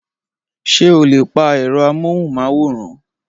Ṣé o lè pa ẹ̀rọ amóhùnmáwòrán?